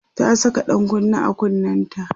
ta Saka ɗan kunne a kunnenta